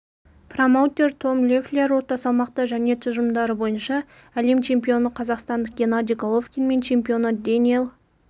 промоутер том леффлер орта салмақта және тұжырымдары бойынша әлем чемпионы қазақстандық геннадий головкин мен чемпионы дэниэл